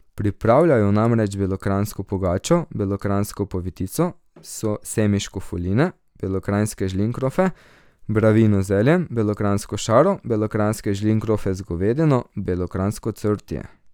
Pripravljajo namreč belokranjsko pogačo, belokranjsko povitico, semiško fuline, belokranjske žlinkrofe, bravino z zeljem, belokranjsko šaro, belokranjske žlinkrofe z govedino, belokranjsko cvrtje...